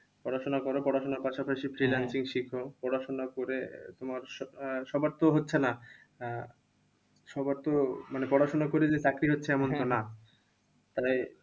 পড়াশোনা করো পড়াশোনার পাশাপাশি freelancing শেখো। পড়াশোনা করে তোমার আহ সবার তো হচ্ছে না। সবার তো পড়াশোনা করে যে চাকরি হচ্ছে এমন তো না। তাহলে